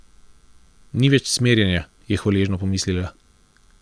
Nič več cmerjenja, je hvaležno pomislila.